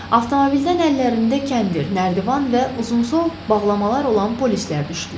Avtomobildən əllərində kəndir, nərdivan və uzunsov bağlamalar olan polislər düşdülər.